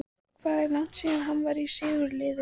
Hvað er langt síðan að hann var í sigurliði?